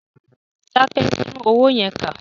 Dákẹ́! Tún owó yẹn kà.